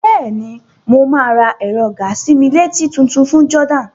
Bẹ́ẹ̀ni, mo máa ra ẹ̀rọ gàa-sí-mí-létí tutun ní Jordan.